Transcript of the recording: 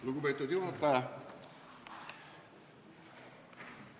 Lugupeetud juhataja!